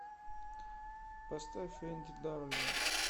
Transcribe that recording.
поставь энди дарлинг